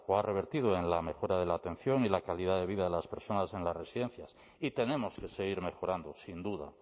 ha revertido en la mejora de la atención y la calidad de vida de las personas en las residencias y tenemos que seguir mejorando sin duda